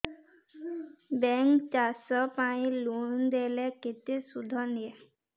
bank ଚାଷ ପାଇଁ loan ଦେଲେ କେତେ ସୁଧ ନିଏ